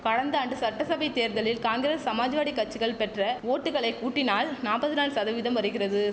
கடந்த ஆண்டு சட்டசபை தேர்தலில் காங்கிரஸ் சமாஜ்வாடி கச்சிகள் பெற்ற ஓட்டுக்களை கூட்டினால் நாப்பத்தி நாலு சதவீதம் வருகிறது